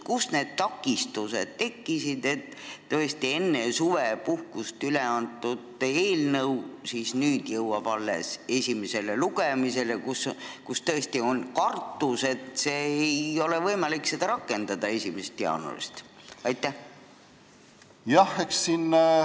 Kus need takistused tekkisid, et enne suvepuhkust üleantud eelnõu jõuab esimesele lugemisele alles nüüd, kui on kartus, et ei ole võimalik seda 1. jaanuarist rakendada?